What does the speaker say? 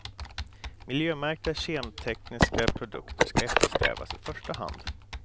Miljömärkta kemtekniska produkter skall eftersträvas i första hand.